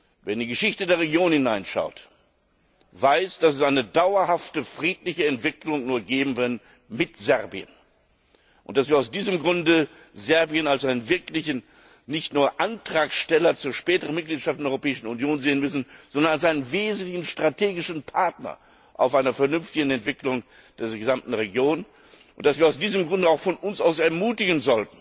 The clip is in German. Wer in die Geschichte der Region hineinschaut, weiß, dass es eine dauerhafte friedliche Entwicklung nur mit Serbien geben kann und dass wir aus diesem Grunde Serbien nicht nur als Antragsteller zur späteren Mitgliedschaft in der Europäischen Union sehen müssen, sondern als einen wesentlichen strategischen Partner bei einer vernünftigen Entwicklung dieser gesamten Region und dass wir aus diesem Grunde auch von uns aus ermutigen